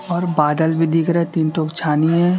और बादल भी दिख रहा तीन ठो छानी है।